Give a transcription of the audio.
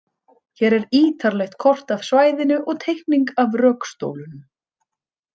Hér er ítarlegt kort af svæðinu og teikning af rökstólunum.